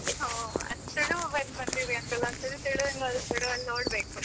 ಹಾ ತುಳು ಬಂದಿದೆ ಅಂತಲ್ಲ ಒಂದ್ಸರಿ ತುಳುವಲ್ಲಿ ನೋಡ್ಬೇಕು.